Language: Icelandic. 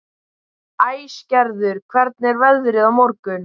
Æsgerður, hvernig er veðrið á morgun?